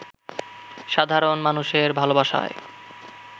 সাধারণ মানুষের ভালোবাসায়